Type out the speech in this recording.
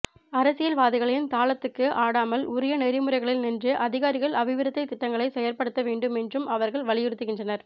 அரசியல் வாதிகளின் தாளத்துக்கு ஆடாமல் உரிய நெறிமுறைகளில் நின்று அதிகாரிகள் அபிவிருத்தித் திட்டங்களை செயற்படுத்த வேண்டும் என்றும் அவர்கள் வலியுறுத்துகின்றனர்